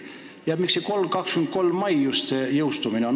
Ja miks on just 23. mail jõustumine ette nähtud?